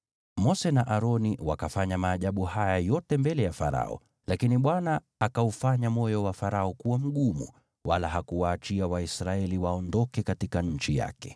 Mose na Aroni wakafanya maajabu haya yote mbele ya Farao, lakini Bwana akaufanya moyo wa Farao kuwa mgumu, wala hakuwaachia Waisraeli waondoke katika nchi yake.